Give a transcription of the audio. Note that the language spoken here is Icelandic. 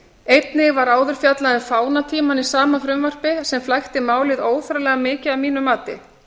einnig var áður fjallað um fánatímann í sama frumvarpi sem flækti málið óþarflega mikið að mínu mati